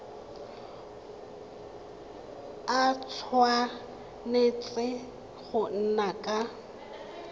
a tshwanetse go nna ka